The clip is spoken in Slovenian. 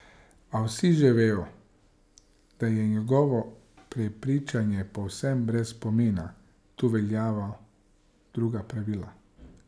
A vsi že vejo, da je njegovo prepričanje povsem brez pomena, tu veljajo druga pravila.